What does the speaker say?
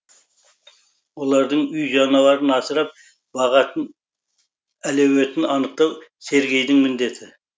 олардың үй жануарын асырап бағатын әлеуетін анықтау сергейдің міндеті